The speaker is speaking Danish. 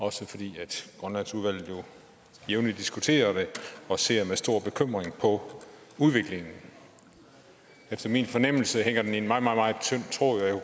også fordi grønlandsudvalget jævnligt diskuterer det og ser med stor bekymring på udviklingen efter min fornemmelse hænger den i en meget meget tynd tråd